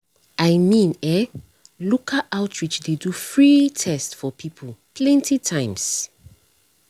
i mean eh local outreach dey do free test for people plenty times.